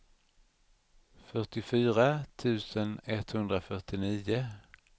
fyrtiofyra tusen etthundrafyrtionio